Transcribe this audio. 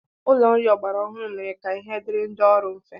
Ụlọ nri ọgbara ọhụrụ mere ka ihe dịịrị ndị ọrụ mfe.